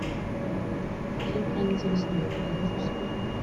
фильм хранители снов ты найдешь у себя